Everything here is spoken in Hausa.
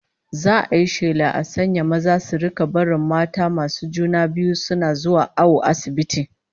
Za'a yi shela a sanya maza su rika barin matan masu juna biyu suna zuwa awo asibiti